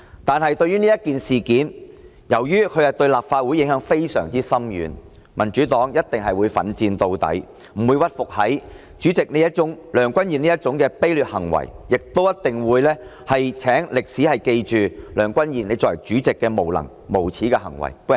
但是，由於此事對立法會影響非常深遠，民主黨一定會奮戰到底，不會屈服於梁君彥主席這種卑劣行為，亦一定會請歷史記着梁君彥你作為主席的無能、無耻的行為。